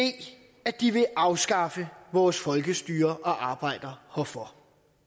at de vil afskaffe vores folkestyre og arbejder herfor